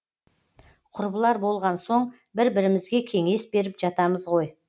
құрбылар болған соң бір бірімізге кеңес беріп жатамыз ғой